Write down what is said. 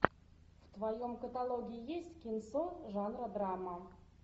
в твоем каталоге есть кинцо жанра драма